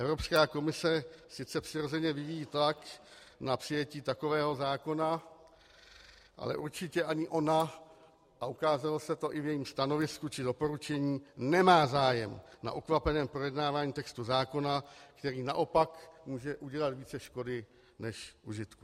Evropská komise sice přirozeně vyvíjí tlak na přijetí takového zákona, ale určitě ani ona, a ukázalo se to i v jejím stanovisku či doporučení, nemá zájem na ukvapeném projednávání textu zákona, který naopak může udělat více škody než užitku.